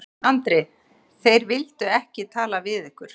Andri: Þeir vildu ekki tala við ykkur?